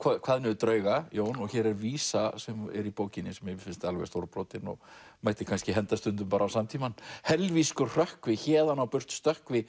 kvað niður drauga Jón og hér er vísa sem er í bókinni sem mér finnst alveg stórbrotin og mætti kannski henda stundum á samtímann hrökkvi héðan á burt stökkvi